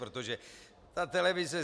Protože ta televize...